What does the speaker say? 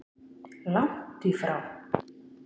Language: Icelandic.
Langt í frá!